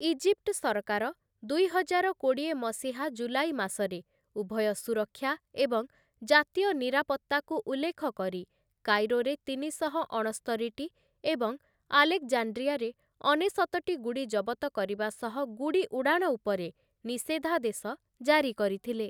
Egypt ସରକାର ଦୁଇହଜାର କୋଡ଼ିଏ ମସିହା ଜୁଲାଇ ମାସରେ ଉଭୟ ସୁରକ୍ଷା ଏବଂ ଜାତୀୟ ନିରାପତ୍ତାକୁ ଉଲ୍ଲେଖକରି କାଇରୋରେ ତିନିଶହ ଅଣସ୍ତରିଟି ଏବଂ ଆଲେକ୍‌ଜାଣ୍ଡ୍ରିଆରେ ଅନେଶତଟି ଗୁଡ଼ି ଜବତ କରିବା ସହ ଗୁଡ଼ି ଉଡ଼ାଣ ଉପରେ ନିଷେଧାଦେଶ ଜାରି କରିଥିଲେ ।